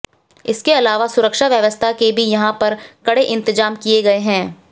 इसके अलावा सुरक्षा व्यवस्था के भी यहां पर कड़े इंतजाम किए गए है